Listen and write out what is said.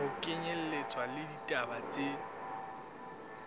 ho kenyelletswa le ditaba tse